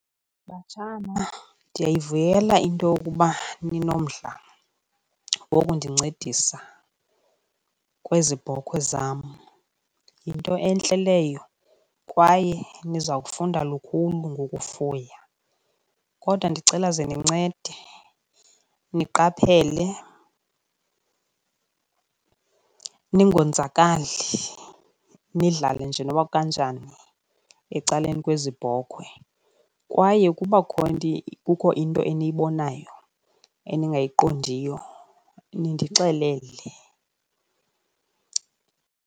Batshana, ndiyayivuyela into yokuba ninomdla wokundincedisa kwezi bhokhwe zam, yinto entle leyo kwaye niza kufunda lukhulu ngokufuya. Kodwa ndicela ze nincede niqaphele ningonzakali nidlale nje nokuba kukanjani ecaleni kwezi bhokhwe, kwaye ukuba kukho into eniyibonayo eningayiqondiyo nindixelele.